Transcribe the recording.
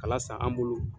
Kala san an bolo